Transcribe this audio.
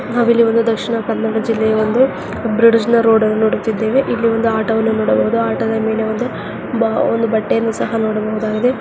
ನಾವಿಲ್ಲಿ ಒಂದು ದಕ್ಷಿಣ ಕನ್ನಡ ಜಿಲ್ಲೆಯ ಒಂದು ಬ್ರಿಡ್ಜ್ನ ರೋಡ್ನ್ ನೋಡುತ್ತಿದ್ದೇವೆ ಇಲ್ಲಿ ಒಂದು ಆಟೋವನ್ನು ನೋಡಬಹುದು. ಆಟೋದ ಮೇಲೆ ಒಂದು ಬ ಒಂದು ಬಟ್ಟೆಯನ್ನು ಸಹ ನೋಡಬಹುದಾಗಿದೆ--